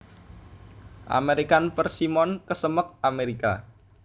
American Persimmon kesemek Amérika